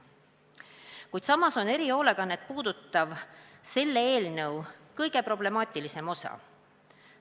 Kuid samas on erihoolekannet puudutav selle eelnõu kõige problemaatilisem osa.